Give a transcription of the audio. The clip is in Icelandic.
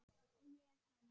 Og ég hans.